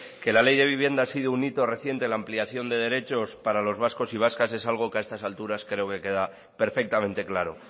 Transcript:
que la ley de vivienda ha sido un hito reciente en la ampliación de derechos para los vascos y vascas es algo que a estas alturas creo que queda perfectamente claro